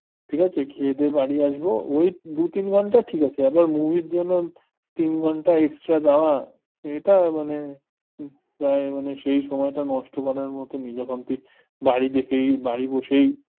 ঠিক আছে খেয়ে দেয়ে বাড়ি আসবো, ওই দু তিন ঘন্টা ঠিক আছে আবার movie র জন্য তিন ঘন্টা extra দেওয়া এটা মানে তাই মানে সেই সময়টা নষ্ট করার মত যখন তুই কি বাড়ি থেকেই বাড়ি বসেই